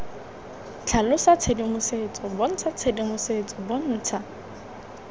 tlhalosa tshedimosetso bontsha tshedimosetso bontsha